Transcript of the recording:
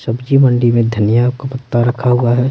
सब्जी मंडी में धनिया का पत्ता रखा हुआ है।